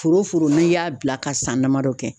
Foro foro n'i y'a bila ka san damadɔ kɛ